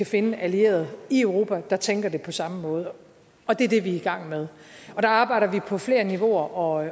finde allierede i europa der tænker det på samme måde og det er det vi er i gang med der arbejder vi på flere niveauer og